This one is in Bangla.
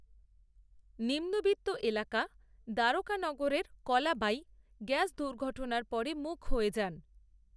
নিম্নবিত্ত এলাকা দ্বারকানগরের, কলা বাঈ, গ্যাস দুর্ঘটনার পরে মূক হয়ে যান